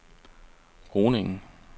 Groningen